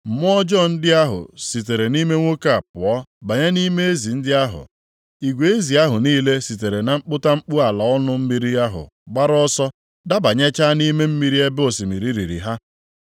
Mmụọ ọjọọ ndị ahụ sitere nʼime nwoke a pụọ banye nʼime ezi ndị ahụ, igwe ezi ahụ niile sitere na mkputamkpu ala ọnụ mmiri ahụ gbara ọsọ dabanyechaa nʼime mmiri ebe osimiri riri ha.